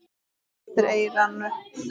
Bara eftir eyranu.